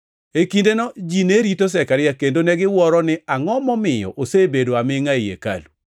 E kindeno, ji ne rito Zekaria kendo negiwuoro ni angʼo momiyo osebedo amingʼa ei hekalu.